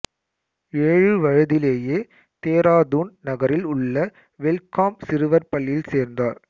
ஏழு வயதிலேயே தேராதூன் நகரில் உள்ள வெல்ஃகாம் சிறுவர் பள்ளியில் சேர்ந்தார்